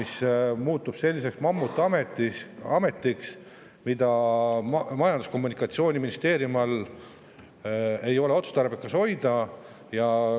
See muutub selliseks mammutametiks, mida Majandus- ja Kommunikatsiooniministeeriumi all ei ole otstarbekas hoida.